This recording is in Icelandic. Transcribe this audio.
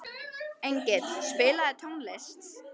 Engill, spilaðu tónlist.